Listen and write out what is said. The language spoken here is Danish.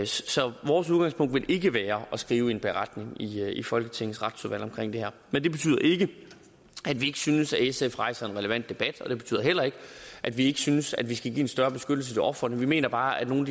så vores udgangspunkt vil ikke være at skrive en beretning i folketingets retsudvalg om det her men det betyder ikke at vi ikke synes at sf rejser en relevant debat og det betyder heller ikke at vi ikke synes vi skal give en større beskyttelse til ofrene vi mener bare at nogle